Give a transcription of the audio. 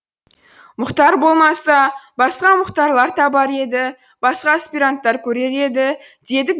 мұхтар болмаса басқа мұхтарлар табар еді басқа аспиранттар көрер еді дедік